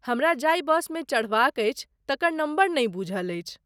हमरा जाहि बसमे चढ़बाक अछि, तकर नम्बर नहि बूझल अछि।